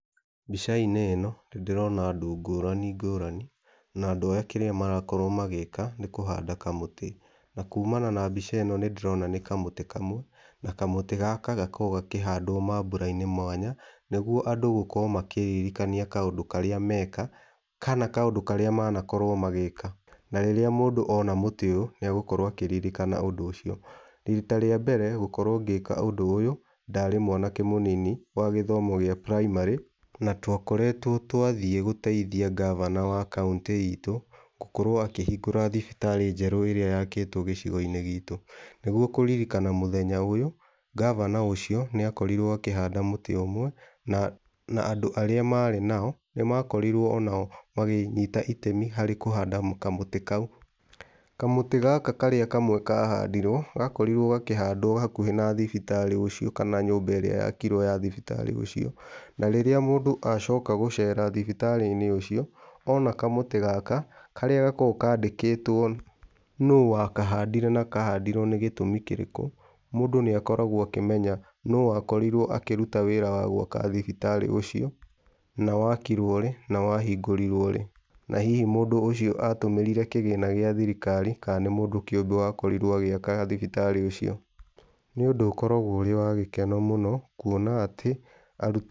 Mbica-inĩ ĩno nĩndĩrona andũ ngũrani ngũrani na andũ aya kĩrĩa marakorwo magĩka nĩ kũhanda kamũtĩ na kũmana na mbĩca ĩno nĩndĩrona nĩ kamũtĩ kamwe na kamũtĩ gaka gakoragwo gakĩhandwo mambura-inĩ mwanya nĩgwo andũ gũkorwo makĩririkania kaũndũ karĩa meka kana kaũndũ karĩa manakorwo magĩka, na rĩrĩa mũndũ ona mũtĩ ũyũ nĩagũkorwo akĩririkana ũndũ ũcio. Rita rĩa mbere gũkorwo ngĩka ũndũ ũyũ ndarĩ mwanake mũnini wa gĩthomo gĩa primary na twakoretwo twathĩĩ gũteithia ngavana wa county itũ gũkorwo akĩhingũra thibitarĩ njerũ ĩrĩa yakĩtwo gĩcigo-inĩ gitũ. Nĩguo kũririkana mũthenya ũyũ ngavana ũcio nĩakorirwo akĩhanda mũtĩ ũmwe na andũ arĩa marĩ nao nĩmakorirwo onao makĩnyita itemi harĩ kũhanda kamũtĩ kau. Kamũtĩ gaka karĩa kamwe kahandirwo gakorirwo gakĩhandwo hakuhĩ na thibitarĩ ũcio kana nyũmba ĩrĩa yakirwo ya thibitarĩ ũcio na rĩrĩa mũndũ acoka gũcera thibitarĩ-inĩ ũcio ona kamũtĩ gaka karĩa gakoragwo kandĩkĩtwo nũũ wakahandĩre na kahandirwo nĩ gĩtũmi kĩrĩkũ mũndũ nĩakoragwo akĩmenya nũu wakorirwo akĩruta wĩra wa gwaka thibitarĩ ũcio na wakirwo rĩ na wahingũrirwo rĩ na hihi mũndũ ũcio atũmĩrire kĩgĩna gĩa thirikari kana nĩ mũndũ kĩũmbe wakorirwo agĩaka thibitarĩ ũcio. nĩundũ ũkoragwo wĩ wa gĩkeno mũno kũona atĩ.